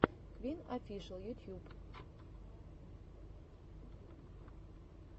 квин офишел ютьюб